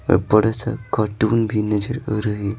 और बड़े सा कार्टून भी नजर आ रहे।